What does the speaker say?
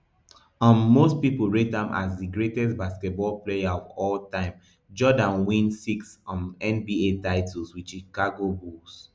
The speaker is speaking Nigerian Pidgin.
um most pipo rate am as di greatest basketball player of all time jordan win six um nba titles wit chicago bulls